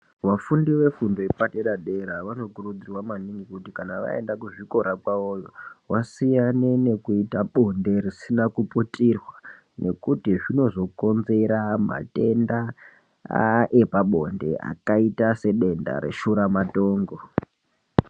Vafundi vefundo yepaderadera vanokurudzirwa maningi kuti kana kuzvikora kwavoyo vasiyane nekuita bonde risina kuputirwa nekuti zvinozokonzera matenda aa epabonde akaita sedenda reshuramatongo.